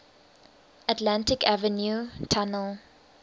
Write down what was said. atlantic avenue tunnel